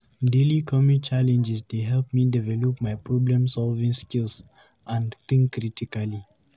Daily commute challenges dey help me develop my problem-solving skills and think critically.